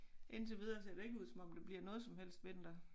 Indtil videre ser det ikke ud som om det bliver noget som helst vinter